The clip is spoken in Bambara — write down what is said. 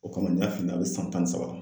O kama n y'a f'i ɲɛna a bi san tan ni saba la